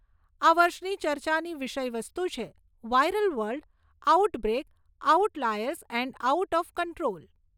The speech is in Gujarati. આ વર્ષની ચર્ચાની વિષય વસ્તુ છે, viral world, out break, out liars and out of control.